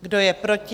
Kdo je proti?